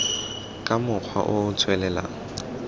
ka mokgwa o o tswelelang